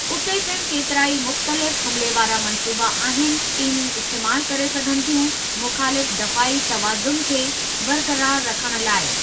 उते पिण केतिराई मुख़्तलिफ़ हमिले वारा मंसूबा आहिनि, टीमूं इस्तेमाल करे सघनि थियूं मुख़ालिफ़ु दफ़ाई तवाज़नु खे बरक़रार रखणु लाइ।